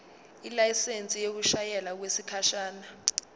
ilayisensi yokushayela okwesikhashana